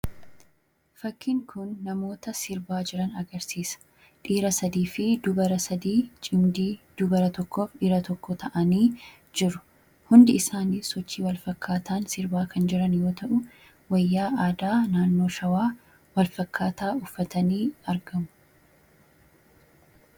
fakkiin kun namoota sirbaa jiran agarsiisa dhiira 3 fi dubara 3 cimdii dubara 1f dhiira 1 ta'anii jiru hundi isaanii sochii walfakkaataan sirbaa kan jiran yoo ta'u wayyaa aadaa naannoo shawaa walfakkaataa uffatanii argamu